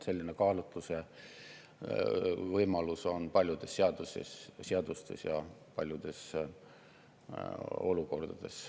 Selline kaalutlusvõimalus on paljudes seadustes ja paljudes olukordades.